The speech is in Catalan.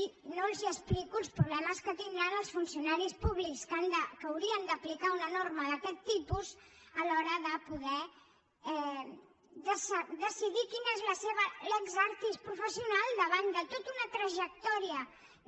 i no els explico els problemes que tindran els funcionaris públics que hauran d’aplicar una norma d’aquest tipus a l’hora de poder decidir quina és la seva lex artisfessional davant de tota una trajectòria